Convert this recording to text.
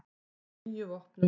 Á níu vopnum voru rúnir.